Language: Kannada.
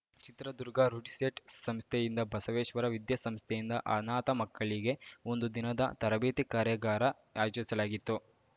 ಚಿತ್ರದುರ್ಗ ರುಡ್‌ಸೆಟ್‌ ಸಂಸ್ಥೆಯಿಂದ ಬಸವೇಶ್ವರ ವಿದ್ಯಾಸಂಸ್ಥೆಯಿಂದ ಅನಾಥ ಮಕ್ಕಳಿಗೆ ಒಂದು ದಿನದ ತರಬೇತಿ ಕಾರ್ಯಾಗಾರ ಆಯೋಜಿಸಲಾಗಿತ್ತು